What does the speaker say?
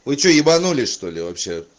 вы что ебанулись что ли вообще